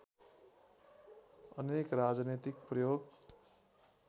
अनेक राजनीतिक प्रयोग